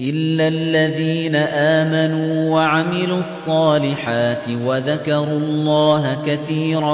إِلَّا الَّذِينَ آمَنُوا وَعَمِلُوا الصَّالِحَاتِ وَذَكَرُوا اللَّهَ كَثِيرًا